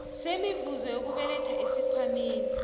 semivuzo yokubeletha esikhwameni